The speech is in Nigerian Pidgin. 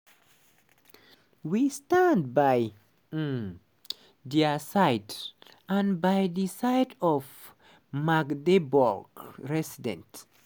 we stand by um dia side and by di side of all magdeburg residents.